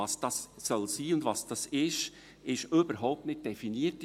Was das sein soll und was das ist, ist in diesem Gesetzesartikel überhaupt nicht definiert.